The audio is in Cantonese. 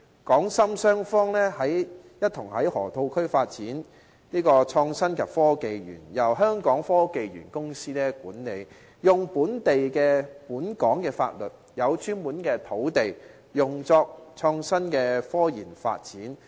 港深雙方一同在河套區發展"港深創新及科技園"，後者由香港科技園公司管理，使用本港法律，有專門土地用作創新科研發展。